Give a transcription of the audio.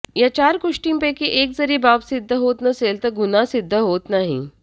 या चार गोष्टींपैकी एक जरी बाब सिद्ध होत नसेल तर गुन्हा सिद्ध होत नाही